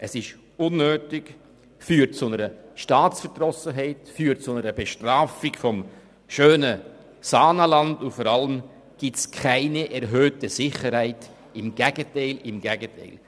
Es ist unnötig, führt zu einer Staatsverdrossenheit, zu einer Bestrafung des schönen Saanenlands, und vor allem gibt es keine erhöhte Sicherheit – im Gegenteil, im Gegenteil!